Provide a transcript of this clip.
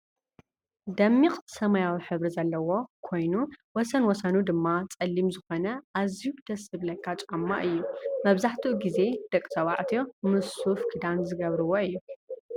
ደሚቅ ሰማያዊ ሕብሪ ዘለዎ ኮይኑወሰንወሰኑ ድማ ፀሊም ዝኮነ ኣዝየዩ ደስ ዝብለካ ጫማ እዩ። መብዛሕቲኡ ግዜ ደቂ ተባዕትዮ ምስ ሱፍ ክዳን ዝገብርዎ እዩ።